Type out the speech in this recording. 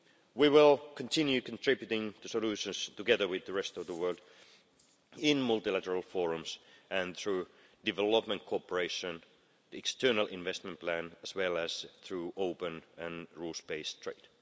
We will continue contributing solutions, together with the rest of the world, in multilateral forums and through development cooperation, the external investment plan, as well as through open and rules based trade.